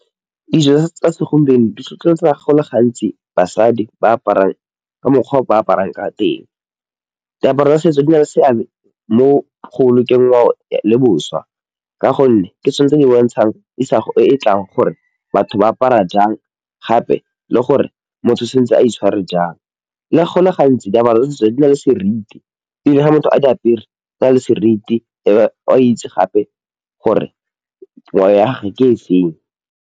Dijo tsa segompieno di tlhotlheletsa go le gantsi basadi ba aparang ka mokgwa o ba aparang ka teng, diaparo tsa setso di na le seabe mo go bolokeng ngwao le boswa, ka gonne ke tsone tse di bontshang isago e e tlang gore batho ba apara jang gape le gore motho santse a itshware jang, le go le gantsi diaparo le ditso tse di na le seriti le ga motho a di apere di na le seriti e a itse gape gore gwao ya gage ke e feng.